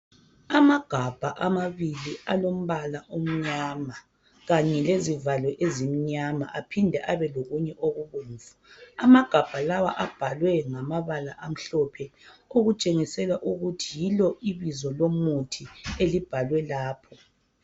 Amagabha amabili alombala omnyama kanye lezivalo ezimnyama aphinde abe lokunye okubomvu. Amagabha lawe abhalwe ngamabala amhlophe okutshengisela ukuthi yilo ibizo lomuthi elibhalwe lapha.